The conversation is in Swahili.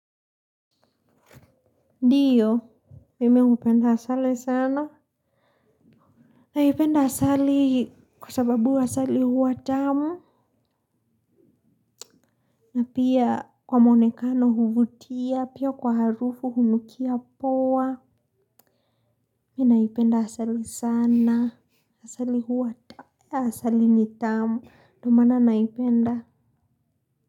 Ndiyo, mimi hupenda asali sana. Naipenda asali kwa sababu asali huwa tamu. Na pia kwa mwonekano huvutia, pia kwa harufu hunukia poa. Mi naipenda asali sana. Asali huwa, asali ni tamu. Ndio mana naipenda.